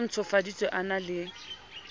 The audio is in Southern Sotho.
o ntshofaditsweng a na le